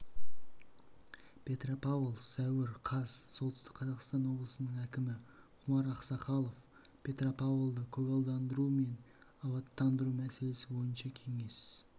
петропавл сәуір қаз солтүстік қазақстан облысының әкімі құмар ақсақалов петропавлды көгалдандыру мен абаттандыру мәселесі бойынша кеңес